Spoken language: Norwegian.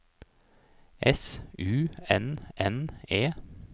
S U N N E